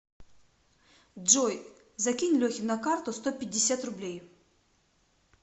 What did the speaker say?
джой закинь лехе на карту сто пятьдесят рублей